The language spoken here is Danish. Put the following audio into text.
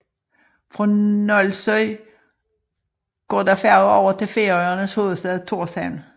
Fra Nólsoy går der færge over til Færøernes hovedstad Thorshavn